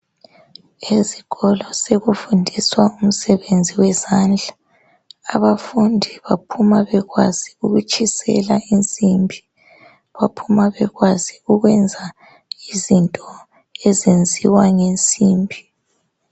Ezikolo sekufundiswa umsebenzi wezandla. Abafundi baphuma bekwazi ukutshisela insimbi. Baphuma bekwazi ukwenza izinto ezenziwa ngensimbi.